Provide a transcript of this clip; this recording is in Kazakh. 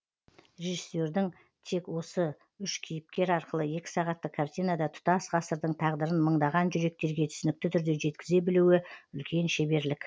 режиссердің тек осы үш кейіпкер арқылы екі сағаттық картинада тұтас ғасырдың тағдырын мыңдаған жүректерге түсінікті түрде жеткізе білуі үлкен шеберлік